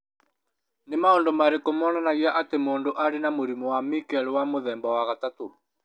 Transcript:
Nĩ maũndũ marĩkũ monanagia atĩ mũndũ arĩ na mũrimũ wa Meckel wa mũthemba wa gatatũ?